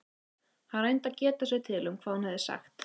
Hann reyndi að geta sér til um hvað hún hefði sagt.